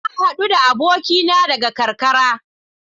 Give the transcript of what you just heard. Na hadu da abokina daga karkara.